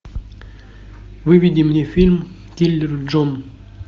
выведи мне фильм киллер джон